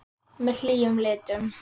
Með hlýjum litum.